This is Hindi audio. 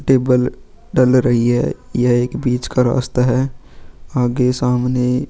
टेबल डल रही है यह एक बीच का रास्ता है आगे सामने.